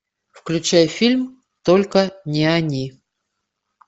включай фильм только не они